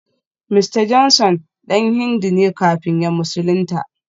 Mista Johnson dan Hindu ne kafin ya musulunta